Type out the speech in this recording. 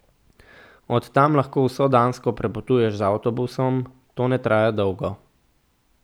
Od tam lahko vso Dansko prepotuješ z avtobusom, to ne traja dolgo.